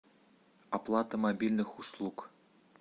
оплата мобильных услуг